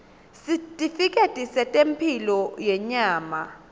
sitifiketi setemphilo yenyama